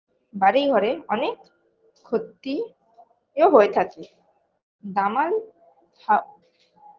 বাড়ি ঘরে অনেক ক্ষতিও হয়ে থাকে দামাল হা